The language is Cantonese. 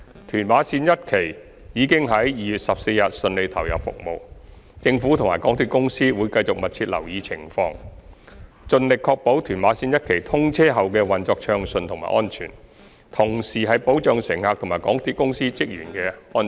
屯馬綫一期已於2月14日順利投入服務，政府及港鐵公司會繼續密切留意情況，盡力確保屯馬綫一期通車後的運作順暢及安全，同時保障乘客及港鐵公司職員的安全。